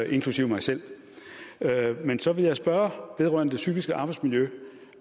inklusive mig selv men så vil jeg spørgsmål vedrørende det psykiske arbejdsmiljø